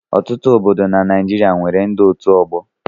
Ọtụtụ obodo dị na Naịjirịa nwere ndị otu ọgbọ.